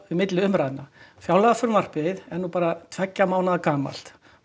milli umræðna fjárlagafrumvarpið er nú bara tveggja mánaða gamalt